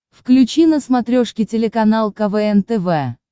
включи на смотрешке телеканал квн тв